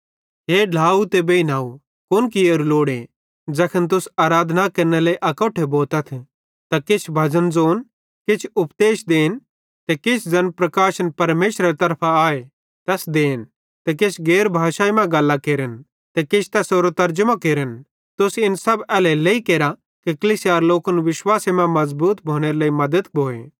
हे ढ्लाव ते बेइनव कुन कियोरू लोड़ूए ज़ैखन तुस आराधना केरने लेइ अकोट्ठे भोतथ त किछ भजन ज़ोन किछ उपदेश देन ते किछ ज़ैन प्रकाशन परमेशरेरे तरफां आए तैस देन ते किछ गैर भाषाई मां गल्लां केरन ते किछ तैसेरो तरजमो केरन तुस इन सब एल्हेरेलेइ केरा कि कलीसियारे लोकन विश्वासे मां मज़बूत भोनेरे लेइ मद्दत भोए